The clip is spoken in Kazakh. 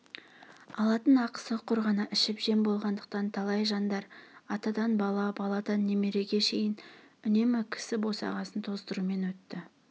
алатын ақысы құр ғана ішіп-жем болғандықтан талай жандар атадан бала баладан немереге шейін үнемі кісі босағасын тоздырумен өтіп